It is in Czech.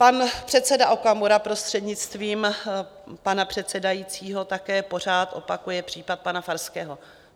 Pan předseda Okamura, prostřednictvím pana předsedajícího, také pořád opakuje případ pana Farského.